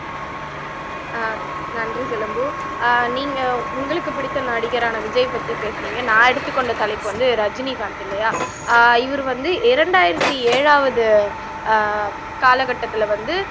ஆஹ் நன்றி சிலம்பு ஆஹ் நீங்க உங்களுக்கு பிடித்த நடிகரான விஜய் பத்தி பேசுனீங்க நான் எடுத்துக்கொண்ட தலைப்பு வந்து ரஜினிகாந்த் இல்லையா ஆஹ் இவரு வந்து இரண்டாயிரத்தி ஏழாவது ஆஹ் காலக்கட்டத்துல வந்து